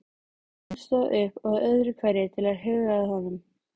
Margrét stóð upp öðru hverju til að huga að honum.